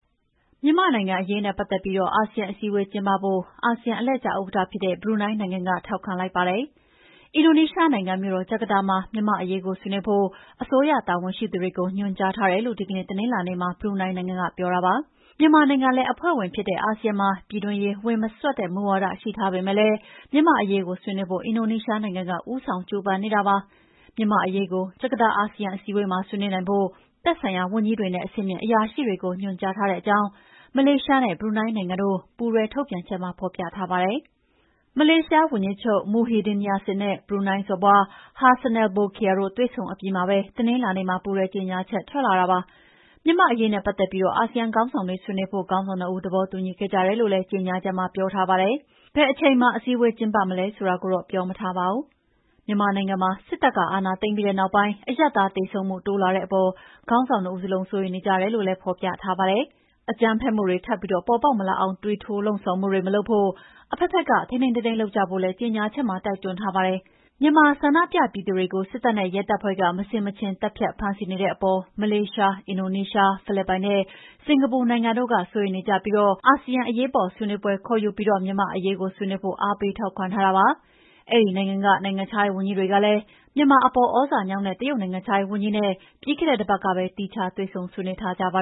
မြန်မာနိုင်ငံအရေးနဲ့ပတ်သက်ပြီး အာဆီယံအစည်းအဝေးကျင်းပဖို့ အာဆီယံအလှည့်ကျဥက္ကဋ္ဌဖြစ်တဲ့ ဘရူနိုင်းနိုင်ငံက ထောက်ခံလိုက်ပါတယ်။ အင်ဒိုနီးရှားနိုင်ငံ မြို့တော်ဂျကာတာမှာ မြန်မာ့အရေးကိုဆွေးနွေးဖို့ အစိုးရတာဝန်ရှိသူတွေကို ညွှန်ကြားထားတယ်လို့ ဒီကနေ့ တနင်္လာနေ့မှာပြောပါတယ်။ မြန်မာနိုင်ငံလည်းအဖွဲ့ဝင်ဖြစ်တဲ့ အာဆီယံမှာ ပြည်တွင်းရေးဝင်မစွက်တဲ့မူဝါဒတွေရှိထားပေမယ့်လည်း မြန်မာ့အရေးကိုဆွေးနွေးဖို့ အင်ဒိုနီးရှားနိုင်ငံက ဦးဆောင်ကြိုးပမ်းနေတာဖြစ်ပါတယ်။ မြန်မာ့အရေးကို ဂျကာတာ အာဆီယံအစည်းအဝေးမှာဆွေးနွေးနိုင်ဖို့ သက်ဆိုင်ရာဝန်ကြီးတွေနဲ့ အဆင့်မြင့်အရာရှိတွေကို ညွှန်ကြားထားကြောင်း မလေးရှားနဲ့ ဘရူနိုင်းနိုင်ငံတို့ ပူးတွဲထုတ်ပြန်ချက်မှာ ဖော်ပြထားပါတယ်။ မလေးရှားဝန်ကြီးချုပ် Muhyiddin Yassin နဲ့ ဘရူနိုင်း စော်ဘွား Hassanal Bolkiah တို့ တွေ့ဆုံအပြီးမှာပဲ တနင်္လာနေ့မှာ ပူးတွဲကြေညာချက်ထွက်လာတာဖြစ်ပါတယ်။ မြန်မာ့အရေးနဲ့ပတ်သက်ပြီး အာဆီယံခေါင်းဆောင်တွေဆွေးနွေးဖို့ ခေါင်းဆောင်နှစ်ဦးသဘောတူညီခဲ့ကြတယ်လို့ ကြေညာချက်မှာ ပြောထားပါတယ်။ ဘယ်အချိန်မှာ အစည်းအဝေးကျင်းပမလဲဆိုတာကိုတော့ ပြောမထားပါဘူး။ မြန်မာနိုင်ငံမှာ စစ်တပ်ကအာဏာသိမ်းပြီးနောက်ပိုင်း အရပ်သားသေဆုံးမှုတိုးလာတဲ့အပေါ် ခေါင်းဆောင်နှစ်ဦးစလုံးစိုးရိမ်နေကြတယ်လို့လည်း ဖော်ပြထားပါတယ်။ အကြမ်းဖက်မှုတွေထပ်ပေါ်ပေါက်မလာအောင်သွေးထိုးလှုံ့ဆော်မှုတွေမလုပ်ဖို့၊ အဘက်ဘက်က ထိန်းထိန်းသိမ်းသိမ်းလုပ်ကြဖို့လည်း ကြေညာချက်မှာတိုက်တွန်းထားပါတယ်။ မြန်မာဆန္ဒပြသူတွေကို စစ်တပ်နဲ့ ရဲတပ်ဖွဲ့က မဆင်မခြင်သတ်ဖြတ်ဖမ်းဆီးနေတဲ့အပေါ် မလေးရှား၊ အင်ဒိုနီးရှား၊ ဖိလစ်ပိုင်နဲ့ စင်္ကာပူနိုင်ငံတို့က စိုးရိမ်နေကြပြီး အာဆီယံအရေးပေါ်ဆွေးနွေးပွဲကျင်းပပြီး မြန်မာ့အရေးဆွေးနွေးဖို့ အားပေးထောက်ခံထားကြတာဖြစ်ပါတယ်။ အဲဒီနိုင်ငံက နိုင်ငံခြားရေးဝန်ကြီးတွေကလည်း မြန်မာအပေါ် သြဇာညောင်းတဲ့ တရုတ်နိုင်ငံခြားရေးဝန်ကြီးနဲ့ ပြီးခဲ့တဲ့တပတ်က သီးခြားတွေ့ဆုံဆွေးနွေးထားကြပါ